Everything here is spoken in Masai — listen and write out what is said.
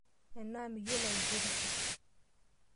Enaa miyiolo aigerisho?